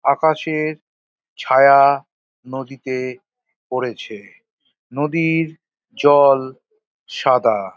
আকাশের ছায়া নদীতে পড়েছে নদীর জল সাদা।